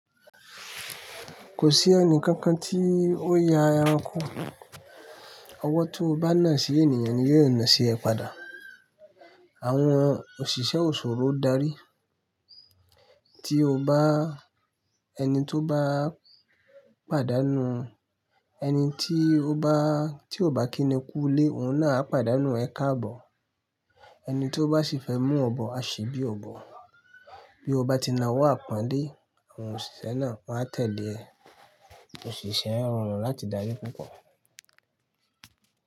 Kò sí ẹni kankan tí ó ya ẹranko. Ọwọ́ tí o bá nà sí ènìyàn ni yóò nà sí ẹ padà. Àwọn òṣìṣẹ́ òṣòro darí. Tí o bá, ẹni tí o bá pàdánù, ẹni tí o bá, tí o bá kíni kú ilé, òun náà á pàdánù ẹ káàbọ̀. Ẹni tí ó bá ṣe fẹ́ mú ọ bọ̀ á ṣè bí ọ bọ̀. Bí o bá ti na ọwọ́ àpọ́nlẹ̀, àwọn òṣìṣẹ́ náà wáa n tẹ̀lé ẹ. Òṣìṣẹ́ rọrùn láti darí púpọ̀.